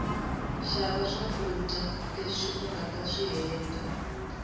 shava swakuja leswi ungataswihheta